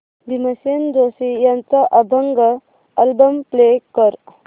भीमसेन जोशी यांचा अभंग album play कर